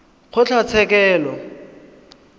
kgotlatshekelo